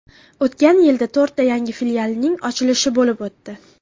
O‘tgan yilda to‘rtta yangi filialning ochilishi bo‘lib o‘tdi.